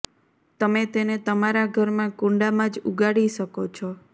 તમે તેને તમારા ઘરમાં કુંડામાં જ ઉગાડી શકો છો